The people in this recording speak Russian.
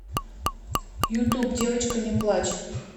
ютуб девочка не плачь